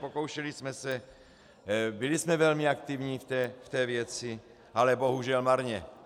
Pokoušeli jsme se, byli jsme velmi aktivní v té věci, ale bohužel marně.